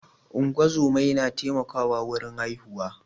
ungozomai na taimako wurin haihuwa